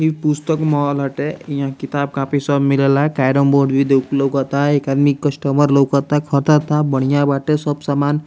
ई पुस्तक मॉल हटे इहाँ किताब कॉपी सब मिलेला केरम बोर्ड भी दोक लोकता एक आदमी कस्टमर लोकता खरदा ता बढ़िया बाटे सब समान।